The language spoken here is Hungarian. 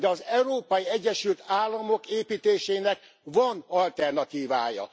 De az Európai Egyesült Államok építésének van alternatívája.